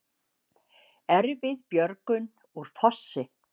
Erfið björgun úr fossi